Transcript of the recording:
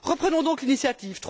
Reprenons donc l'initiative.